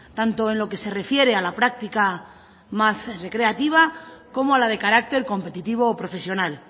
tanto en lo que se refiere a la práctica más recreativa como a la de carácter competitivo o profesional